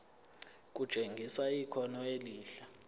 kutshengisa ikhono elihle